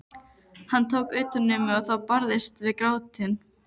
Hann tók utan um mig og ég barðist við grátinn.